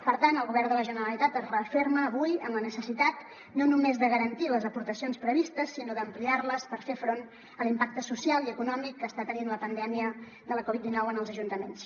per tant el govern de la generalitat es referma avui en la necessitat no només de garantir les aportacions previstes sinó d’ampliar les per fer front a l’impacte social i econòmic que està tenint la pandèmia de la covid dinou en els ajuntaments